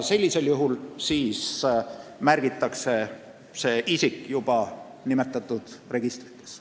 Sellisel juhul siis märgitakse see isik juba nimetatud registritesse.